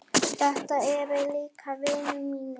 Þetta eru líka vinir mínir.